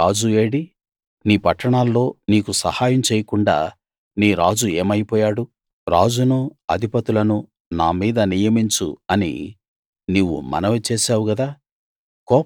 నీ రాజు ఏడి నీ పట్టణాల్లో నీకు సహాయం చేయకుండ నీ రాజు ఏమైపోయాడు రాజును అధిపతులను నా మీద నియమించు అని నీవు మనవి చేశావు గదా